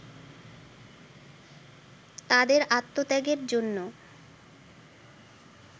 তাদের আত্মত্যাগের জন্য